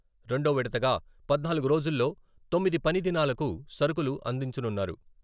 రెండో విడతగా పద్నాలుగు రోజుల్లో తొమ్మిది పని దినాలకు సరకులు అందించనున్నారు.